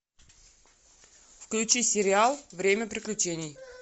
включи сериал время приключений